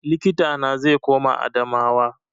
Likita na zai koma Adamawa